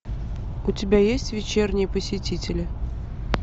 у тебя есть вечерние посетители